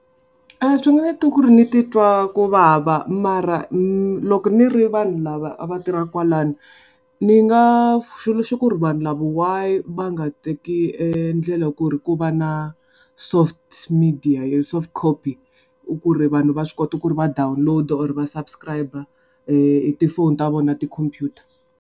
Swi nga endla ku ri ni ti twa kuvava mara loko ni ri vanhu lava a va tirhaka kwalano, ni nga ku ri vanhu lava why va nga teki endlela ku ri ku va na soft media soft copy, ku ri vanhu va swi kota ku ri va download-a or va subscribe-a hi ti phone ta vona na ti khompyuta.